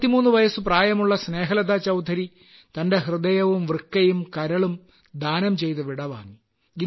63 വയസു പ്രായമുള്ള സ്നേഹലതാചൌധരി തന്റെ ഹൃദയവും വൃക്കയും കരളും ദാനം ചെയ്ത് വിടവാങ്ങി